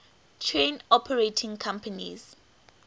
train operating companies